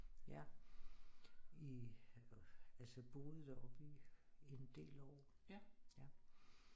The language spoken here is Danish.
Ja i altså boet deroppe i i en del år